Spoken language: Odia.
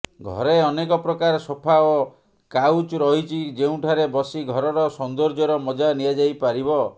ଘରେ ଅନେକ ପ୍ରକାର ସୋଫା ଓ କାଉଚ ରହିଛି ଯେଉଁଠାରେ ବସି ଘରର ସୌନ୍ଦର୍ଯ୍ୟର ମଜା ନିଆଯାଇପାରିବ